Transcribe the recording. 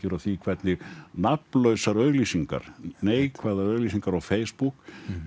af því hvernig nafnlausar auglýsingar neikvæðar auglýsingar á Facebook